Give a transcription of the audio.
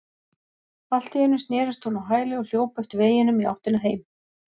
Allt í einu snerist hún á hæli og hljóp eftir veginum í áttina heim.